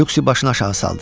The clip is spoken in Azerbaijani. Lüksi başını aşağı saldı.